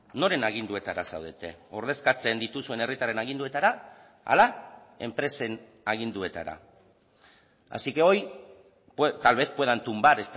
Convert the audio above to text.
noren aginduetara zaudete ordezkatzen dituzuen herritarren aginduetara ala enpresen aginduetara así que hoy tal vez puedan tumbar